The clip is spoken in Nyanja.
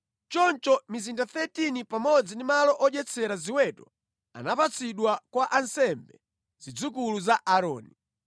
Choncho mizinda 13 pamodzi ndi malo odyetsera ziweto anapatsidwa kwa ansembe, zidzukulu za Aaroni.